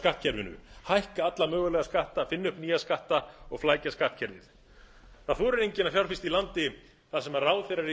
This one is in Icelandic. skattkerfinu hækka alla mögulega skatta finna upp nýja skatta og flækja skattkerfið það þorir enginn að fjárfesta í landi þar sem ráðherrar í